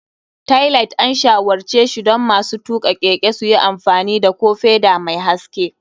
Tailight, an shawarce shi don masu tuka keke su yi amfani da ko feda mai haske.